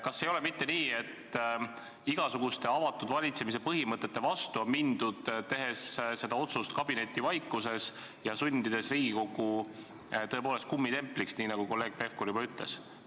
Kas ei ole mitte nii, et on mindud igasuguste avatud valitsemise põhimõtete vastu, tehes see otsus kabinetivaikuses ja sundides Riigikogu tõepoolest hakkama kummitempliks, nagu kolleeg Pevkur juba ütles?